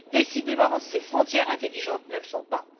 Décidément, ces frontières intelligentes ne le sont pas.